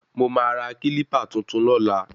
Mo máa ra kílípà tuntun lọ́la